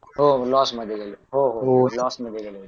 हो हो लॉस मध्ये गेले हो हो लॉस मध्ये गेले